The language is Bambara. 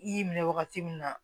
I y'i minɛ wagati min na